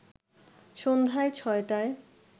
সন্ধ্যায় ৬টায়